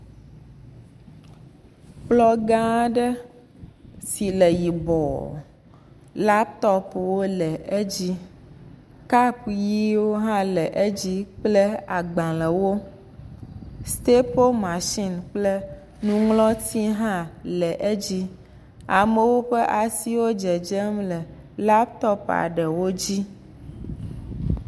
Kplɔ gã aɖe si le yibɔɔ latopuwo le edzi, kapɔ ʋiwo hã le edzi kple agbalẽwo, stapo mashini kple nuŋlɔti hã le edzi, amewo ƒe asi le dzedzem le laputopua eɖe dzi.